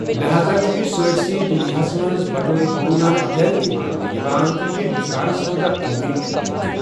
لہاذا چُھ یہِ سٲرِسٕے دُنیاہس منٛز بطورگُروٗ نانک جَینتی ماننہ یوان تہٕ یہِ چھےٚ ہِنٛدُستانس منٛز اَکھ قومی چُھٹی تہِ۔